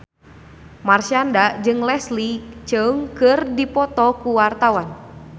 Marshanda jeung Leslie Cheung keur dipoto ku wartawan